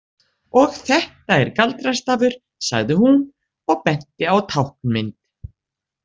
Og þetta er galdrastafur, sagði hún og benti á táknmynd.